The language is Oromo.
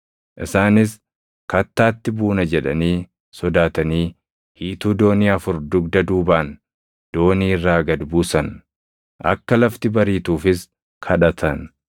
Isaanis kattaatti buuna jedhanii sodaatanii hiituu doonii afur dugda duubaan doonii irraa gad buusan. Akka lafti bariituufis kadhatan.